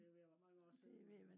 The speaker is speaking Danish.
det er ved at være mange år siden